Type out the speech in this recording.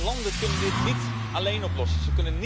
Landen kunnen dit niet alleen oplossen.